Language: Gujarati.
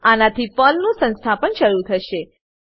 આનાથી પર્લ નું સંસ્થાપન શરૂ થશે